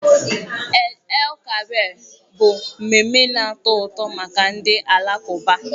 Eid_el Kabir bụ mmemme na-atọ ụtọ maka ndị Alakụba.